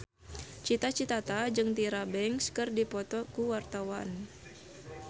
Cita Citata jeung Tyra Banks keur dipoto ku wartawan